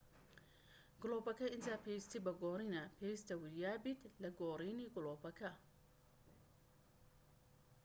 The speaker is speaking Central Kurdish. گڵۆپەکە ئینجا پێویستی بە گۆڕینە پێویستە وریابیت لە گۆڕینی گڵۆپەکە